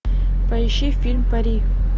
поищи фильм пари